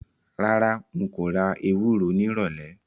Rárá, n kò ra ewúro nírọ̀lẹ̀